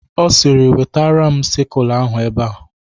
Ọ sịrị "Wetatara m sịkụl ahụ ebe a